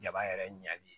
Jaba yɛrɛ ɲali